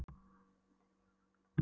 Ha? stundi Nikki og átti varla til orð.